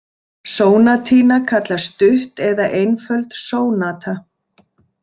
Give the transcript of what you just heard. Sónatína kallast stutt eða einföld sónata.